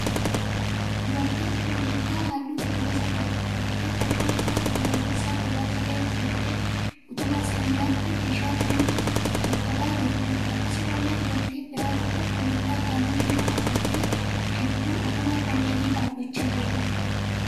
Dubartiin kullittaa halluu cuquliisa qabu uffattee, kofoo immoo kan halluun isaa gurraacha ta'e uffattee utubaa sibiilaatti meeshaa jiru xuxuqaa jirtuudha. Akkasumallee dubartii biraan tokko kullittaa halluu diimaa uffattee gidduu utubaa kanneenii dhaabbachaa jirti.